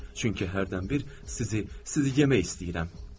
Çünki hərdən bir sizi, sizi yemək istəyirəm.